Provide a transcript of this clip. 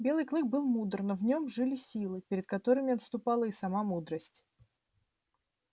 белый клык был мудр но в нем жили силы перед которыми отступала и сама мудрость